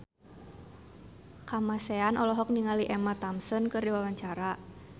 Kamasean olohok ningali Emma Thompson keur diwawancara